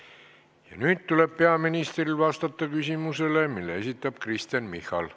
Ja nüüd tuleb peaministril vastata küsimusele, mille esitab Kristen Michal.